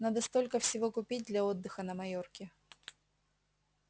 надо столько всего купить для отдыха на майорке